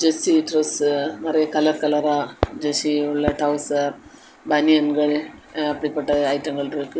Kids dress நெறியா colour கலர கிட்ஸ்க்குரிய டவுசர் பனியன்கள் அப்படிப்பட்ட ஐட்டங்கள் இருக்கு.